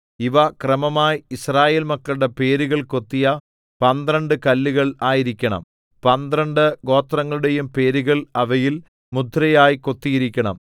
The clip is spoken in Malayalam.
ഇവ ക്രമമായി യിസ്രായേൽ മക്കളുടെ പേരുകൾ കൊത്തിയ പന്ത്രണ്ട് കല്ലുകൾ ആയിരിക്കണം പന്ത്രണ്ട് ഗോത്രങ്ങളുടെയും പേരുകൾ അവയിൽ മുദ്രയായി കൊത്തിയിരിക്കണം